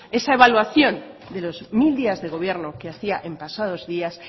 ante esa evaluación de los mil días de gobierno que hacía en pasados días